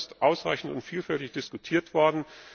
Auch das ist ausreichend und vielfältig diskutiert worden.